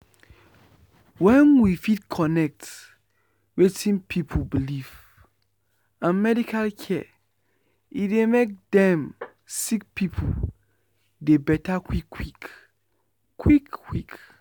wen we fit connect wetin pipu believe and medical care e dey make dem sick pipu dey beta quick quick. quick quick.